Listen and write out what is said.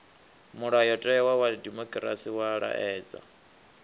mulayotewa wa dimokirasi wa laedza